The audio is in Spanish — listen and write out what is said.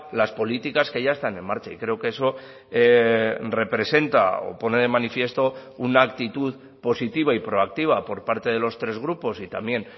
las políticas que ya están en marcha y creo que eso representa o pone de manifiesto una actitud positiva y proactiva por parte de los tres grupos y también